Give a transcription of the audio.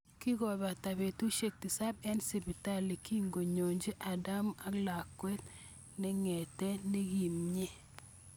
Kikopata petusiek tisab en sipitali kikiyonchi adama ak lakwet ne ngetet nekimnye